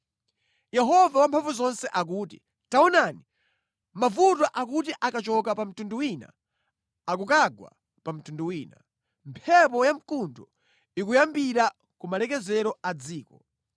Yehova Wamphamvuzonse akuti, “Taonani! Mavuto akuti akachoka pa mtundu wina akukagwa pa mtundu wina; mphepo ya mkuntho ikuyambira ku malekezero a dziko.”